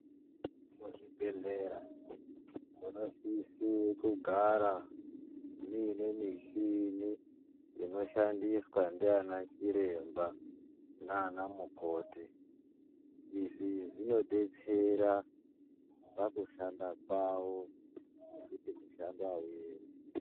Muzvibhehlera munosise kugara muine michinin inoshandiswa ndiana chiremba naana mukoti. Izvi zvinodetsera pakushanda kwavo nekuti mushando auemi.